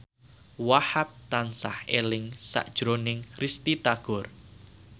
Wahhab tansah eling sakjroning Risty Tagor